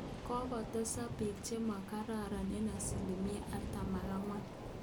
Kokotesak biik chemagareek eng asilimia artam ak angwan